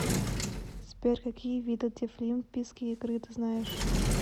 сбер какие виды дефлимпийские игры ты знаешь